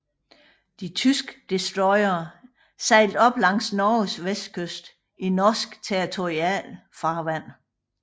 De tyske destroyere sejlede op langs Norges vestkyst i norsk territorialfarvand